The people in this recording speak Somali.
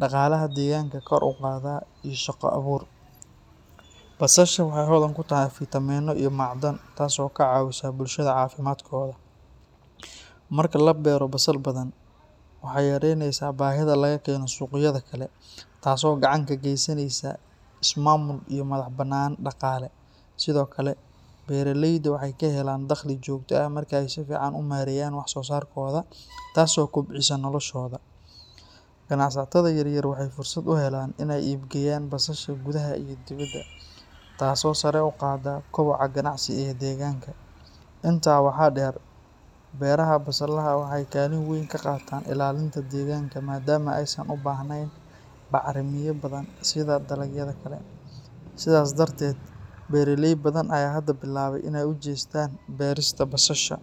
dhaqaalaha deegaanka kor u qaada, iyo shaqo abuur. Basasha waxay hodan ku tahay fiitamiinno iyo macdan, taasoo ka caawisa bulshada caafimaadkooda. Marka la beero basal badan, waxay yaraynaysaa baahida laga keeno suuqyada kale, taasoo gacan ka geysanaysa is-maamul iyo madax-bannaani dhaqaale. Sidoo kale, beeraleyda waxay ka helaan dakhli joogto ah marka ay si fiican u maareeyaan wax-soosaarkooda, taasoo kobcisa noloshooda. Ganacsatada yaryar waxay fursad u helaan inay iibgeeyaan basasha gudaha iyo dibadda, taasoo sare u qaadda koboca ganacsi ee deegaanka. Intaa waxaa dheer, beeraha basalaha waxay kaalin weyn ka qaataan ilaalinta deegaanka maadaama aysan u baahnayn bacramiye badan sida dalagyada kale. Sidaas darteed, beeraley badan ayaa hadda bilaabay inay u jeestaan beerista basasha.